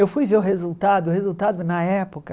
Eu fui ver o resultado, o resultado na época...